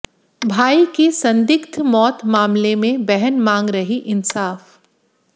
भाई की संदिग्ध मौत मामले में बहन मांग रही इंसाफ